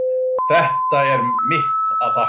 Það er mitt að þakka.